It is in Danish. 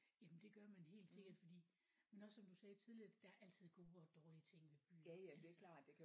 Jamen det gør man helt sikkert fordi men også som du sagde tidligere der er altid gode og dårlige ting ved byer altså